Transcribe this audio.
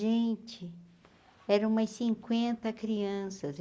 Gente, eram umas cinquenta crianças.